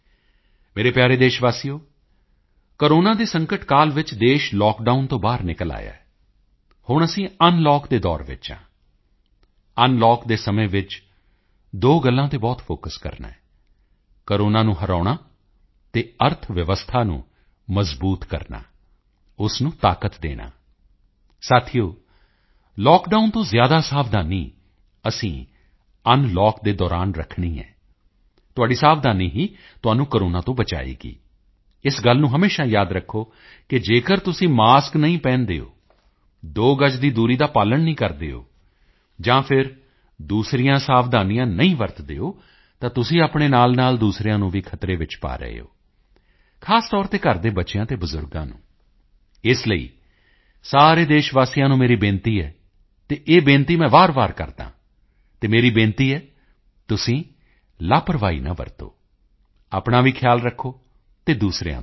ਮੇਰੇ ਪਿਆਰੇ ਦੇਸ਼ਵਾਸੀਓ ਕੋਰੋਨਾ ਦੇ ਸੰਕਟ ਕਾਲ ਵਿੱਚ ਦੇਸ਼ ਲਾਕਡਾਊਨ ਤੋਂ ਬਾਹਰ ਨਿਕਲ ਆਇਆ ਹੈ ਹੁਣ ਅਸੀਂ ਅਨਲੌਕ ਦੇ ਦੌਰ ਵਿੱਚ ਹਾਂ ਅਨਲੌਕ ਦੇ ਸਮੇਂ ਵਿੱਚ ਦੋ ਗੱਲਾਂ ਤੇ ਬਹੁਤ ਫੋਕਸ ਕਰਨਾ ਹੈ ਕੋਰੋਨਾ ਨੂੰ ਹਰਾਉਣਾ ਅਤੇ ਅਰਥਵਿਵਸਥਾ ਨੂੰ ਮਜ਼ਬੂਤ ਕਰਨਾ ਉਸ ਨੂੰ ਤਾਕਤ ਦੇਣਾ ਸਾਥੀਓ ਲਾਕਡਾਊਨ ਤੋਂ ਜ਼ਿਆਦਾ ਸਾਵਧਾਨੀ ਅਸੀਂ ਅਨਲੌਕ ਦੇ ਦੌਰਾਨ ਰੱਖਣੀ ਹੈ ਤੁਹਾਡੀ ਸਾਵਧਾਨੀ ਹੀ ਤੁਹਾਨੂੰ ਕੋਰੋਨਾ ਤੋਂ ਬਚਾਏਗੀ ਇਸ ਗੱਲ ਨੂੰ ਹਮੇਸ਼ਾ ਯਾਦ ਰੱਖੋ ਕਿ ਜੇਕਰ ਤੁਸੀਂ ਮਾਸਕ ਨਹੀਂ ਪਹਿਨਦੇ ਹੋ ਦੋ ਗਜ਼ ਦੀ ਦੂਰੀ ਦਾ ਪਾਲਣ ਨਹੀਂ ਕਰਦੇ ਹੋ ਜਾਂ ਫਿਰ ਦੂਸਰੀਆਂ ਸਾਵਧਾਨੀਆਂ ਨਹੀਂ ਵਰਤਦੇ ਹੋ ਤਾਂ ਤੁਸੀਂ ਆਪਣੇ ਨਾਲਨਾਲ ਦੂਸਰਿਆਂ ਨੂੰ ਵੀ ਖਤਰੇ ਵਿੱਚ ਪਾ ਰਹੇ ਹੋ ਖ਼ਾਸ ਤੌਰ ਤੇ ਘਰ ਦੇ ਬੱਚਿਆਂ ਤੇ ਬਜ਼ੁਰਗਾਂ ਨੂੰ ਇਸ ਲਈ ਸਾਰੇ ਦੇਸ਼ਵਾਸੀਆਂ ਨੂੰ ਮੇਰੀ ਬੇਨਤੀ ਹੈ ਅਤੇ ਇਹ ਬੇਨਤੀ ਮੈਂ ਵਾਰਵਾਰ ਕਰਦਾ ਹਾਂ ਅਤੇ ਮੇਰੀ ਬੇਨਤੀ ਹੈ ਕਿ ਤੁਸੀਂ ਲਾਪਰਵਾਹੀ ਨਾ ਵਰਤੋਂ ਆਪਣਾ ਵੀ ਖਿਆਲ ਰੱਖੋ ਅਤੇ ਦੂਸਰਿਆਂ ਦਾ ਵੀ